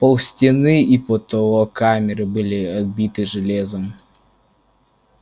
пол стены и потолок камеры были оббиты железом